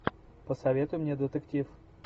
посоветуй мне детектив